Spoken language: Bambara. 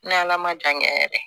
N ala ma jan kɛ yɛrɛ